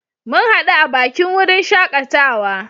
Mun hadu a bakin wurin shakatawa.